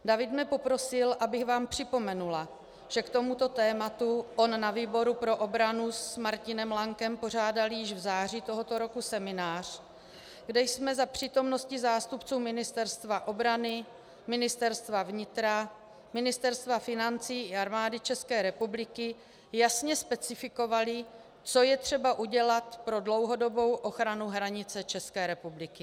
David mne poprosil, abych vám připomněla, že k tomuto tématu on na výboru pro obranu s Martinem Lankem pořádali již v září tohoto roku seminář, kde jsme za přítomnosti zástupců Ministerstva obrany, Ministerstva vnitra, Ministerstva financí i Armády České republiky jasně specifikovali, co je třeba udělat pro dlouhodobou ochranu hranice České republiky.